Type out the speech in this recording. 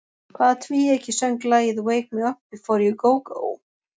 Hvaða tvíeyki söng lagið Wake me up before you go go?